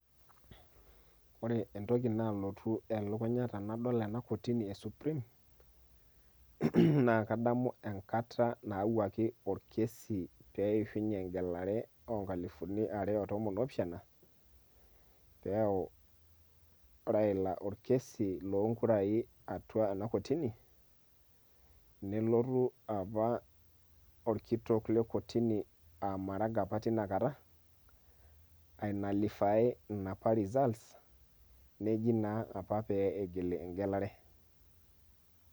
Ore entoki nalotu elukunya tenadol ena kotini e Supreme, na kadamu enkata nawuaki orkesi peishunye egelare onkalifuni are otomon opishana, peyau Raila orkesi lonkurai atua ena kotini ,nelotu apa orkitok le kotini a Maraga apa tinakata, ai nullify inapa results ,neji naa apa pe igili egelare.